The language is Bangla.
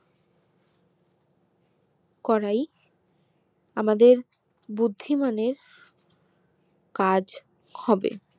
করে আমাদের বুদ্ধিমান এর কাজ হবে